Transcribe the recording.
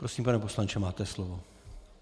Prosím, pane poslanče, máte slovo.